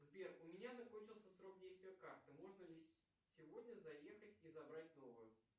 сбер у меня закончился срок действия карты можно ли сегодня заехать и забрать новую